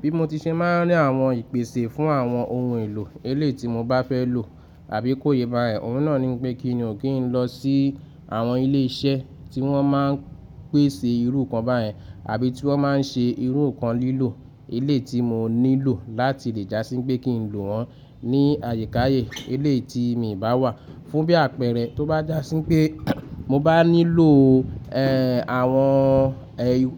Bí mo ti ṣe máa ń rí àwọn ìpèsè fún àwọn ohun èlò eléití mo bá fẹ́ lò àbí kó yé bá ẹ̀, òun náà ní pé kí n o kí n lọ sí àwọn ilé iṣẹ́ tí wọ́n máa ń pèsè irú nkan bá yẹn àbí tí wọ́n máa ń ṣe irú kan lílò eléití mo nílò láti lè já sí pé kí n lò wọ́n ní àyíkáayé eléití mi ìbá wà fún bí àpẹẹrẹ tó bá jásí pé mo bá nílò, ẹ́, àwọn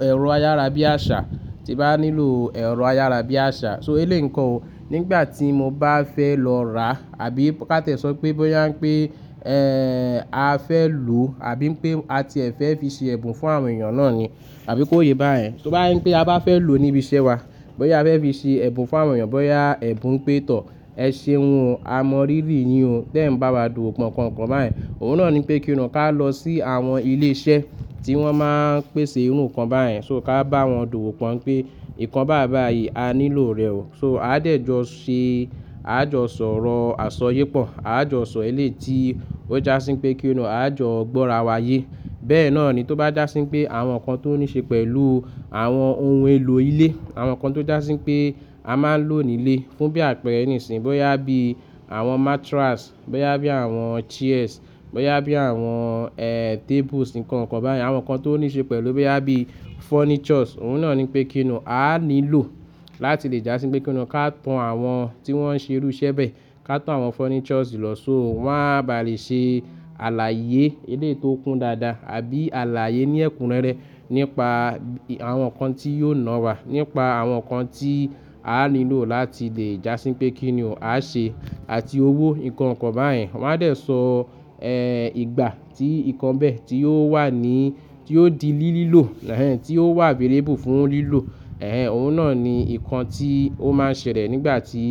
ẹ̀rọ ayárabíàṣà, tí bá nílò ẹ̀rọ ayárabíàṣà. So eléì nkàn ó, nígbà tí mo bá fẹ́ lọ ra àbí ká tẹ́ sọ pé bóyá pé, ẹ́, a fẹ́ lò àbí pé a ti e fẹ́ fi ṣe ẹ̀bùn fún àwọn èèyàn náà ni àbí kó yé bá yen. Tó bá je pé a bá fẹ́ lò níbi iṣẹ́ wa, bóyá a fẹ́ fi ṣe ẹ̀bùn fún àwọn èèyàn, bóyá ẹ̀bùn n pé tọ̀, ẹ̀ṣe ohun amórírì yi o, tẹ́ ẹ̀ n bá wa dùwò pọ́ nkan kan bá yẹn, òun náà ní pé kí n o ká lọ sí àwọn ilé iṣẹ́ tí wọ́n máa ń pèsè irú kan bá yẹn. So ká bá wọn dùwò pọ́n pé nǹkan báyi báyí a nílò rẹ̀ ó. So a dẹ̀ jọ ṣe, a jọ sọ̀rọ̀ àsọ ye pọ̀, a jọ sọ eléyi tí ó jásí pé kí n o, a jọ gbọ́ra wa yé. Bẹ́ẹ̀ náà ni tó bá jásí pé àwọn nǹkan tó níí ṣe pẹ̀lú àwọn ohun èlò ilé, àwọn nǹkan tó jásí pé a máa ń lò nílé fún bí àpẹẹrẹ nísìí, bóyá bí àwọn mattress, bóyá bí àwọn chairs, bóyá bí àwọn, ẹ́, tables nǹkan kan bá yẹn, àwọn nǹkan tó níí ṣe pẹ̀lú bóyá bí furnitures, òun náà ní pé kí n o, a nílò láti lè jásí pé kí n o ká to àwọn tí wọ́n ń ṣe irú iṣẹ́ bẹ́ẹ̀, ká to àwọn furnitures lọ. So wọ́n á ba lè ṣe àlàyé elééyi tó kún dáadáa àbí àlàyé ní ẹ̀kúnrẹ́rẹ́ nípa àwọn nǹkan tí yóò ná wa, nípa àwọn nǹkan tí a nílò láti lè jásí pé kí ni o, a ṣe àti owó nǹkan kan bá yẹn. Wọ́n á dẹ̀ sọ, ẹ́, ìgbà tí nǹkan bẹ́ẹ̀ tí yóò wà ní, tí yóò di lílílò, ẹ́, tí ó wà available fún lílò, ẹ́, òun náà ni nǹkan tí ó máa ń ṣẹlẹ̀ nígbà tí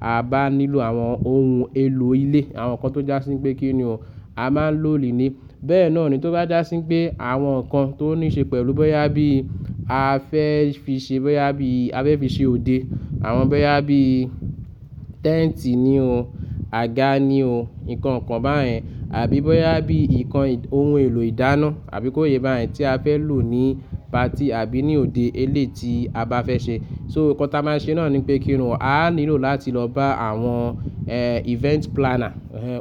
a bá nílò àwọn ohun èlò ilé, àwọn nǹkan tó jásí pé kí n o, a máa ń lò nílé. Bẹ́ẹ̀ náà ni tó bá jásí pé àwọn nǹkan tó níí ṣe pẹ̀lú bóyá bí a fẹ́ fi ṣe, bóyá bí a fẹ́ fi ṣe òde, àwọn bóyá bí tent ni o, aga ni o, nǹkan kan bá yẹn àbí bóyá bí nǹkan ohun èlò ìdáná àbí kó yé bá yẹn tí a fẹ́ lò ní party àbí ní òde eléití a bá fẹ́ ṣe. So nǹkan tí a máa ń ṣe náà ní pé kí ni o, a nílò láti lọ bá àwọn, ẹ́, event planner, ẹ́,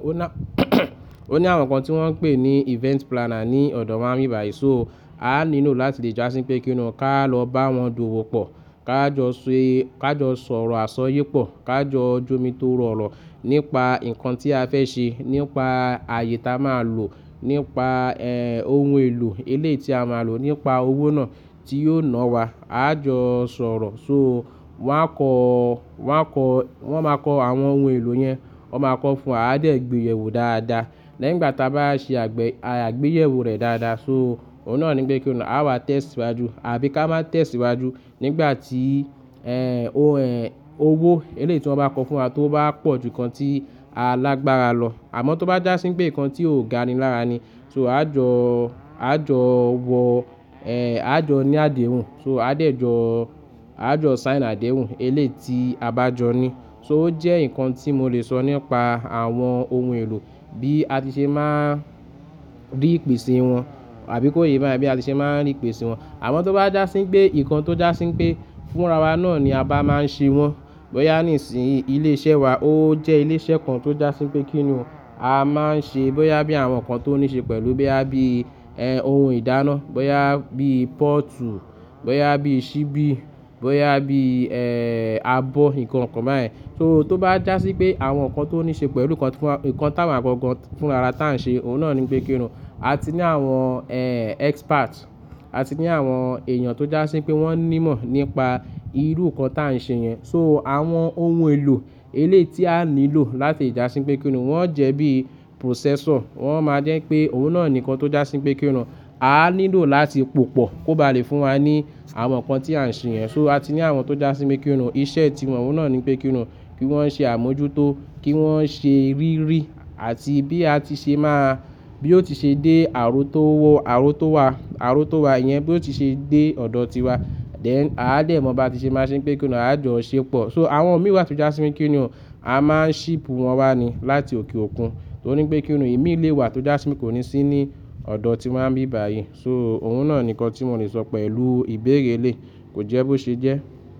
ó ní àwọn nǹkan tí wọ́n ń pè ní event planner ní ọ̀dọ̀ wáa ń bí bá yi so a nílò láti lè jásí pé kí n o ká lọ bá wọn dùwò pọ̀, ká jọ ṣe, ká jọ sọ̀rọ̀ àsọ ye pọ̀, ká jọ jomitorọ̀rọ̀ nípa nǹkan tí a fẹ́ ṣe, nípa àyè tí a máa lò, nípa, ẹ́, ohun èlò eléití a máa lò, nípa owó náà tí yóò ná wa, a jọ sọ̀rọ̀. So wọ́n á kọ́, wọ́n á kọ́, wọ́n máa kọ àwọn ohun èlò yẹn, wọ́n máa kọ fún wa, a dẹ̀ gbéyẹ̀wò dáadáa. Lẹ́yìn igbàá tí a bá ṣe àgbé, a gbéyẹ̀wò rẹ̀ dáadáa. So òun náà ní pé kí ni o, a wá tẹ́síwájú àbí ká má tẹ́síwájú nígbà tí, ẹ́, ó ẹ́, owó eléití wọ́n bá kọ fún wa tó bá pọ̀ ju nǹkan tí alágbara lọ. Àmọ́ tó bá jásí pé nǹkan tí ò ga ni lára ni, so a jọ, a jọ wọ, ẹ́, a jọ ní àdéhùn, so a dẹ̀ jọ, a jọ sign àdéhùn eléití a bá jọ ní. So ó jẹ́ nǹkan tí mo lè sọ nípa àwọn ohun èlò bí a ti ṣe máa ń rí ìpèsè wọn àbí kó yé bá yẹn bí a ti ṣe máa ń rí ìpèsè wọn. Àmọ́ tó bá jásí pé nǹkan tó jásí pé fúnra wa náà ni a bá máa ń ṣe wọ́n, bóyá nísìí ilé iṣẹ́ wa ó jẹ́ ilé iṣẹ́ kan tó jásí pé kí n o, a máa ń ṣe bóyá bí àwọn nǹkan tó níí ṣe pẹ̀lú bóyá bí, ẹ́, ohun ìdáná, bóyá bí portu, bóyá bí ṣíbí, bóyá bí, ẹ́, abọ́ nǹkan kan bá yẹn. So tó bá jásí pé àwọn nǹkan tó níí ṣe pẹ̀lú nǹkan kan, nǹkan táa wáa gọ̀gan fúnra ara tí à ń ṣe, òun náà ní pé kí n o, a ti ní àwọn, ẹ́, expert, a ti ní àwọn èèyàn tó jásí pé wọ́n ní mọ̀ nípa irú nǹkan tí à ń ṣe yẹn. So àwọn ohun èlò eléití a nílò láti lè jásí pé kí n o, wọ́n jẹ́ bí processor, wọ́n máa jẹ́ pé òun náà ni nǹkan tó jásí pé kí n o, a nílò láti pòpọ̀ kó ba lè fún wa ní àwọn nǹkan tí à ń ṣe yẹn. So a ti ní àwọn tó jásí pé kí n o, iṣẹ́ ti wọn òun náà ní pé kí n o, kí wọ́n ṣe àmójútó, kí wọ́n ṣe rírí àti bí a ti ṣe máa, bí ó ti ṣe dé àro tó wọ, àro tó wà, àro tó wà yẹn bí ó ti ṣe dé ọ̀dọ̀ tiwa, dén a dẹ̀ mọ̀ bí a ti ṣe máa ṣe pé kí n o, a jọ ṣepọ̀. So àwọn mì wá tó jásí pé kí n o, a máa ń ship wọn wá ní láti òkè òkun torí pé kí n o, imi lé wá tó jásí wípé kò ní sí ní ọ̀dọ̀ tí wań bí bá yi so òun náà ni nǹkan tí mo lè sọ pẹ̀lú ìbéérè elé, kò jẹ́ bó ṣe jẹ́.